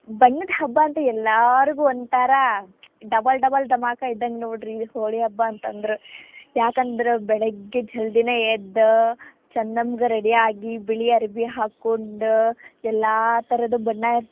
ಬಣ್ಣದ ಹಬ್ಬಾ ಅಂದ್ರ್ ಎಲ್ರಾಗು ಒಂಥರಾ double double ಧಮಾಕಾ ಇದ್ದಂಗ್ ನೋಡ್ರಿ ಹೋಳಿ ಹಬ್ಬಾ ಅಂತಂದ್ರ, ಯಾಕಂದ್ರ ಬೆಳಿಗ್ಗೆ ಜಲ್ದಿನ ಎದ್ದ್ ಚಂದಮ್ಗ್ ready ಆಗಿ ಬಿಳಿ ಅರ್ಬಿ ಹಾಕೊಂಡ್ ಎಲ್ಲಾ ತರದ್ ಬಣ್ಣ ಇರ್ತಾವ.